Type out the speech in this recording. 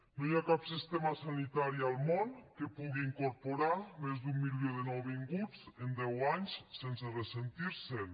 no hi ha cap sistema sanitari al món que pugui incorporar més d’un milió de nouvinguts en deu anys sense ressentir se’n